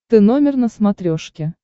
ты номер на смотрешке